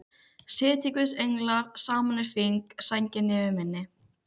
Sitji guðs englar saman í hring, sænginni yfir minni.